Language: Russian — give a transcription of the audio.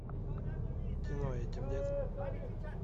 кино этим летом